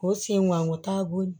K'o sen ŋan o taabolo